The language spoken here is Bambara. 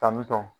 Tantɔn